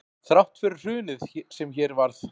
Þrátt fyrir hrunið sem hér varð